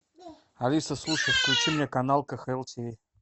алиса слушай включи мне канал кхл тиви